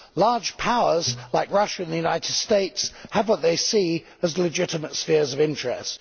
Large powers, like Russia and the United States, have what they see as legitimate spheres of interest.